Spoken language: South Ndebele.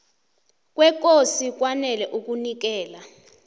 kwekosi kwanele ukunikela